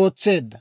ootseedda.